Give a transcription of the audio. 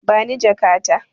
Bani jaka ta.